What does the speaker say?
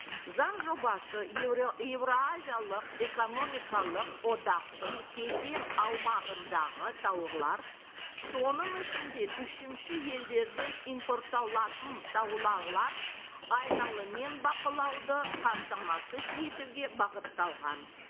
заң жобасы еуразиялық экономикалық одақтың кеден аумағындағы соның ішінде үшінші елдерден импортталатын бақылауды қамтамасыз етуге бағытталған